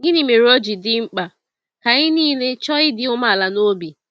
Gịnị mere ọ ji dị mkpa ka anyị niile “chọọ ịdị umeala n’obi”?